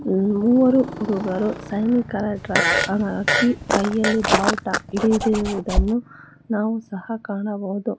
ಮೂವರು ಹುಡುಗರು ಸೈನಿಕರ ಡ್ರೆಸ್ ಹಾಕಿ ಕೈಯಲ್ಲಿ ಬಾವುಟ ಹಿಡಿದಿರುವುದನ್ನು ನಾವು ಸಹ ಕಾಣಬಹುದು.